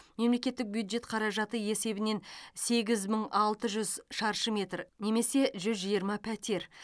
мемлекеттік бюджет қаражаты есебінен сегіз мың алты жүз шаршы метр немесе жүз жиырма пәтер